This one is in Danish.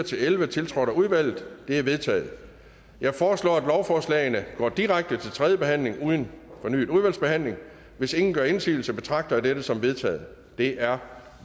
elleve tiltrådt af udvalget de er vedtaget jeg foreslår at lovforslagene går direkte til tredje behandling uden fornyet udvalgsbehandling hvis ingen gør indsigelse betragter jeg dette som vedtaget det er